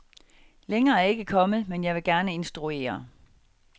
Længere er jeg ikke kommet, men jeg vil gerne instruere.